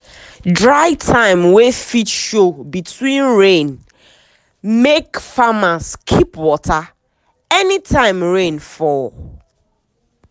dry time wey fit show between rain make farmers keep water anytime rain fall.